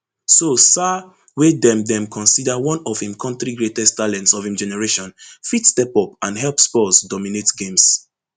so sarr wey dem dem consider one of im kontri greatest talents of im generation fit step up and help spurs dominate games